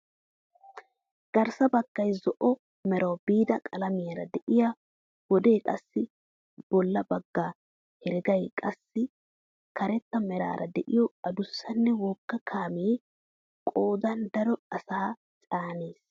Garssa baggay zo'o merawu biida qalamiyaara deiyo wode qassi boolla bagga heregay qassi karetta meraara de'iyoo adussanne wogga kaamee qoodan daro asaa caanees!